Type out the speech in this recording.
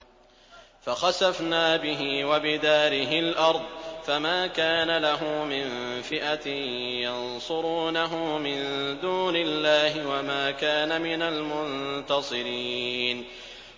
فَخَسَفْنَا بِهِ وَبِدَارِهِ الْأَرْضَ فَمَا كَانَ لَهُ مِن فِئَةٍ يَنصُرُونَهُ مِن دُونِ اللَّهِ وَمَا كَانَ مِنَ الْمُنتَصِرِينَ